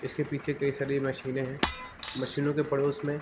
इसके पीछे कई सारी मशीने है मशीनों के पड़ोस में --